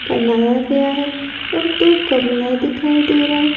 बनाया गया है और दो कमला दिखाई दे रहा है।